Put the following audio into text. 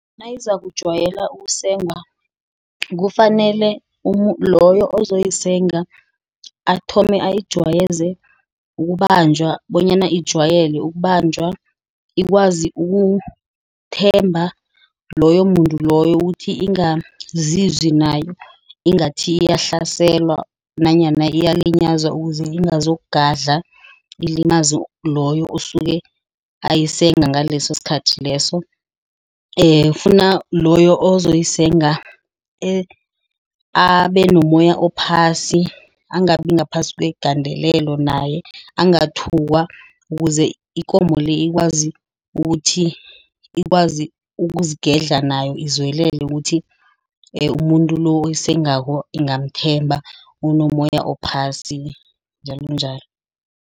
Nayizakujwayela ukusengwa kufanele loyo ozoyisenga athome ayijwayeze ukubanjwa bonyana ijwayele ukubanjwa. Ikwazi ukuthi ithemba loyo muntu loyo ukuthi iingazi nayo ingathi yahlasela nanyana iyalinyazwa. Ukuze ingazo ngadla ilimaze loyo osuke ayisega ngaleso sikhathi leso. Ifuna loyo ozoyisenga abe nomoya ophasi. Angabi ngaphasi kwegandelelo naye, angathukwa ukuze ikomo le ikwazi ukuthi ikwazi ukuzeigedla nayo. Izwelele ukuthi umuntu lo oyisengako ingamthemba, unomoya ophasi njalonjalo.